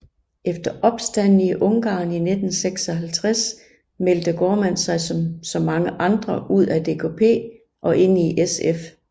Efter opstanden i Ungarn 1956 meldte Gaardmand sig som så mange andre ud af DKP og ind i SF